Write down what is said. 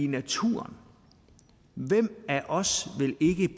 natur hvem af os